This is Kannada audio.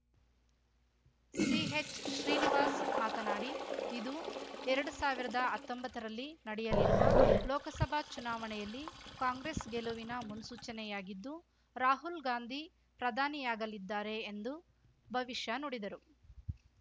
ಸಿಹೆಚ್‌ಶ್ರೀನಿವಾಸ್‌ ಮಾತನಾಡಿ ಇದು ಎರಡ್ ಸಾವಿರ್ದಾ ಅತ್ತೊಂಬತ್ತರಲ್ಲಿ ನಡೆಯಲಿರುವ ಲೋಕಸಭಾ ಚುನಾವಣೆಯಲ್ಲಿ ಕಾಂಗ್ರೆಸ್‌ ಗೆಲವಿನ ಮುನ್ಸೂಚನೆಯಾಗಿದ್ದು ರಾಹುಲ್‌ ಗಾಂಧಿ ಪ್ರಧಾನಿಯಾಗಲಿದ್ದಾರೆ ಎಂದು ಭವಿಷ್ಯ ನುಡಿದರು